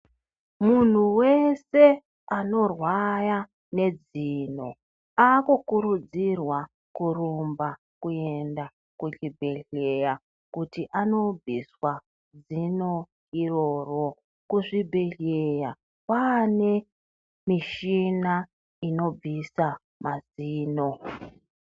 Munhu vese anohwaya nedzino akurudzirwa kurumba kukuenda kuchibhedhlera kuti anobviswa dzino iroro. Kuzvibhedhlera kwane mishina inobvisa madzino.